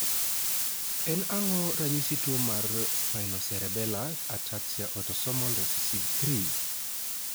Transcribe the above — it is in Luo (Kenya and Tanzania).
en ang'o ranyisi tuo mar Spinocerebellar ataxia autosomal recessive 3?